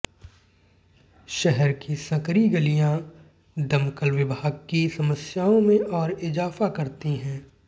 शहर की संकरी गलिया दमकल विभाग की समस्याओं में और इजाफा करती हैं